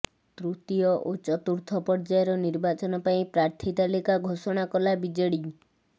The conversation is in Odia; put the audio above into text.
ତୃତୀୟ ଓ ଚତୁର୍ଥ ପର୍ଯ୍ୟାୟର ନିର୍ବାଚନ ପାଇଁ ପ୍ରାର୍ଥୀ ତାଲିକା ଘୋଷଣା କଲା ବିଜେଡି